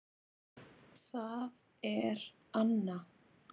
Það er Anna.